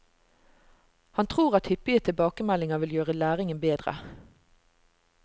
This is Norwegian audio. Han tror at hyppige tilbakemeldinger vil gjøre læringen bedre.